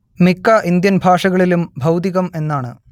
മിക്ക ഇന്ത്യൻ ഭാഷകളിലും ഭൗതികം എന്നാണ്